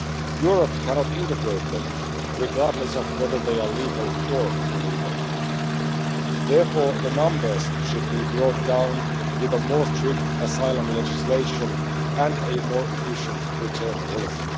Europe cannot integrate them, regardless of whether they are legal or illegal. Therefore, the numbers should be brought down with a stricter asylum legislation and a more efficient return policy.